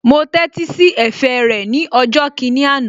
Mo tẹ́tí sí ẹ̀fẹ̀ rẹ̀ ní ọjọ́ kìíní àná